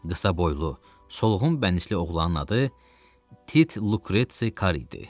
Qısaboylu, solğun bədənli oğlanın adı Tit Lukretsi Kar idi.